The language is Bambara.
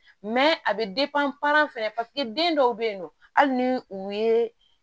a bɛ fɛnɛ den dɔw bɛ yen nɔ hali ni u ye